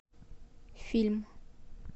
фильм